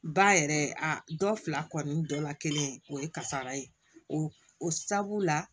Ba yɛrɛ a dɔ fila kɔni dɔ la kelen o ye kasara ye o o sababu la